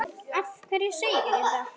Af hverju segirðu þetta?